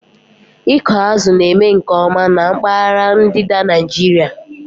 Ịkụ azụ̀ na-eme nke ọma na mpaghara ndịda Nigeria